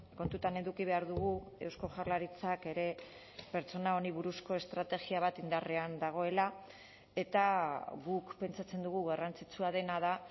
kontutan eduki behar dugu eusko jaurlaritzak ere pertsona hauei buruzko estrategia bat indarrean dagoela eta guk pentsatzen dugu garrantzitsua dena da